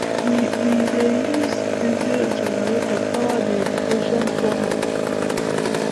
we we dey use diesel generator power the irrigation pump